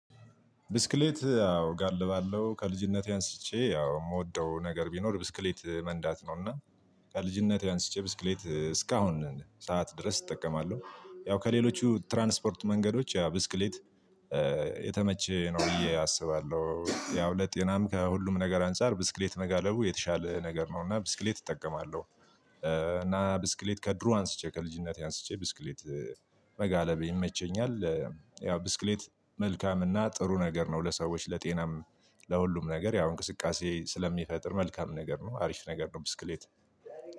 ብስክሌት አዎ እጋልባለሁ ከልጅነቴ አንስቼ አዎ የምወደው ነገር ቢኖር ብስክሌት መንዳት ነውና። ከልጅነቴ አንስቼ ብስክሌት እስካሁን ሰዓት ድረስ እጠቀማለሁ ያው ከሌሎቹ ትራንስፖርት መንገዶች ያ ብስክሌት። የተመቸ ነው እዬ አስባለሁ ያው ለጤናም ከሁሉም ነገር አንፃር ብስክሌት መጋለቡ የተሻለ ነገር ነው። እና ብስክሌት እጠቀማለሁ። እና ብስክሌት ከድሮ አንስቼ ከልጅነቴ አንስቼ ብስክሌት መጋለብ ይመቸኛል። ያው ብስክሌት መልካምና ጥሩ ነገር ነው ለሰዎች ለጤናም። ለሁሉም ነገር ያው እንቅስቃሴ ስለሚፈጥር መልካም ነገር ነው አሪፍ ነገር ነው። ብስክሌት